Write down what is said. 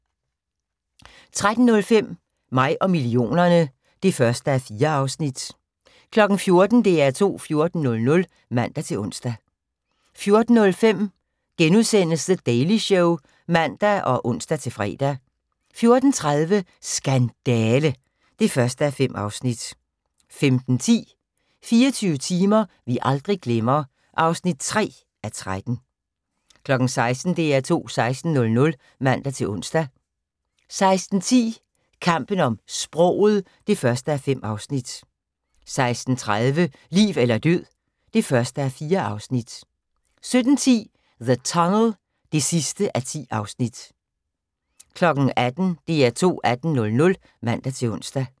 13:05: Mig og millionerne (1:4) 14:00: DR2 14:00 (man-ons) 14:05: The Daily Show *(man og ons-fre) 14:30: Skandale! (1:5) 15:10: 24 timer vi aldrig glemmer (3:13) 16:00: DR2 16:00 (man-ons) 16:10: Kampen om sproget (1:5) 16:30: Liv eller død (1:4) 17:10: The Tunnel (10:10) 18:00: DR2 18:00 (man-ons)